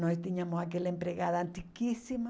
Nós tínhamos aquela empregada antiquíssima.